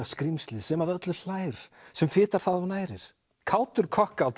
skrímslið sem að öllu hlær sem fitar það og nærir kátur